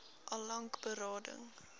al lank berading